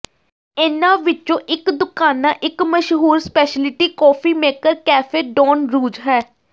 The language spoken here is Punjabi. ਇਨ੍ਹਾਂ ਵਿੱਚੋਂ ਇਕ ਦੁਕਾਨਾ ਇਕ ਮਸ਼ਹੂਰ ਸਪੈਸ਼ਲਿਟੀ ਕੌਫੀ ਮੇਕਰ ਕੈਫੇ ਡੌਨ ਰੂਜ਼ ਹੈ